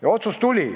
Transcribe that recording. Ja otsus tuli.